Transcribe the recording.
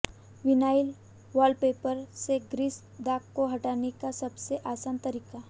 vinyl wallpaper से grease दाग को हटाने का सबसे आसान तरीका